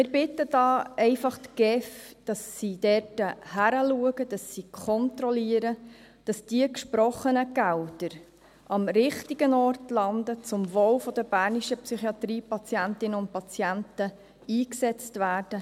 Wir bitten die GEF, dass sie hinschaut, dass sie kontrolliert, damit die gesprochenen Gelder am richtigen Ort landen, zum Wohl der bernischen Psychiatriepatientinnen und patienten eingesetzt werden.